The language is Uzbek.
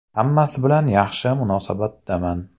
Hammasi bilan yaxshi munosabatdaman.